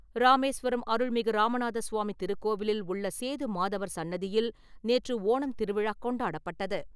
ராமேஸ்வரம் அருள்மிகு ராமநாத சுவாமி திருக்கோவிலில் உள்ள சேது மாதவர் சன்னதியில் நேற்று ஓணம் திருவிழா கொண்டாடப்பட்டது.